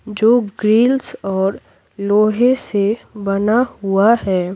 जो ग्रिल्स और लोहे से बना हुआ है।